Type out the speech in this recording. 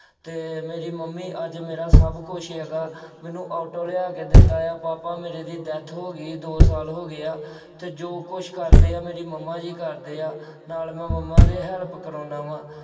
ਅਤੇ ਮੇਰੀ ਮੰਮੀ ਅੱਜ ਮੇਰਾ ਸਭ ਕੁੱਝ ਹੈਗਾ, ਮੈਨੂੰ ਆਟੋ ਲਿਆ ਕੇ ਦਿੱਤਾ ਆ, ਪਾਪਾ ਮੇਰੇ ਦੀ death ਹੋ ਗਈ। ਦੋ ਸਾਲ ਹੋ ਗਏ ਆ ਅਤੇ ਜੋ ਕੁੱਝ ਕਰਦੇ ਆ ਮੇਰੀ ਮੰਮਾ ਜੀ ਕਰਦੇ ਆ, ਨਾਲ ਮੈਂ ਮੰਮਾ ਦੇ help ਕਰਾਉਂਦਾ ਵਾ।